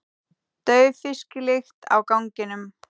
Dauf fisklykt á ganginum.